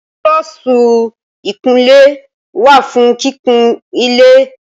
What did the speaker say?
Búrọ́ọ̀sì ìkunlé wà fún kíkun ilé